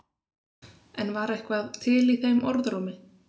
En var eitthvað til í þeim orðrómi?